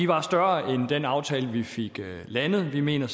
var større end den aftale vi fik landet vi mener